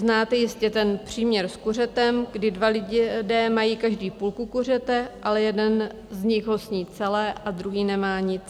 Znáte jistě ten příměr s kuřetem, kdy dva lidé mají každý půlku kuřete, ale jeden z nich ho sní celé a druhý nemá nic.